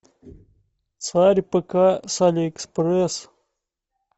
царь пк с алиэкспресс